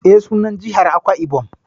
E, sunan jihar Akwai-Ibom